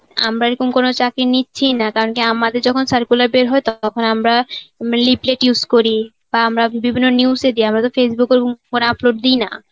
আমরা এরকম কোনো চাকরি নিচ্ছি না কারণ কি আমাদের যখন circular বের হয় তখন আমরা leaflet use করি বা আমরা বিভিন্ন news এ দিই আমরা তো Facebook এর phone এ upload দিই না.